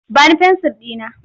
Ba ni fensir ɗina!